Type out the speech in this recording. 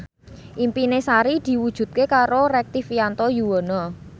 impine Sari diwujudke karo Rektivianto Yoewono